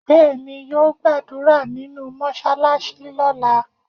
Bẹẹni, yo gbàdúrà nínú mọsalasi lóla